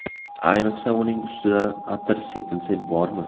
Ayniqsa, uning ustidan atir sepilsa bormi?